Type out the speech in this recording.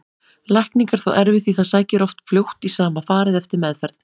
Lækning er þó erfið því það sækir oft fljótt í sama farið eftir meðferð.